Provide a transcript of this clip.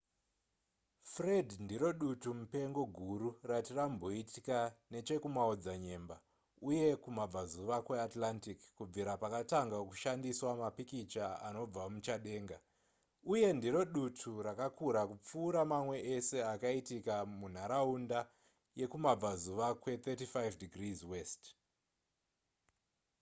fred ndiro dutu mupengo guru rati ramboitika nechekumaodzanyemba uye kumabvazuva kweatlantic kubvira pakatanga kushandiswa mapikicha anobva muchadenga uye ndiro dutu rakakura kupfuura mamwe ese akaitika mumharaunda yekumabvazuva kwe35 ° w